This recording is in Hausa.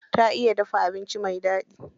Ta iya dafa abinci mai daɗi.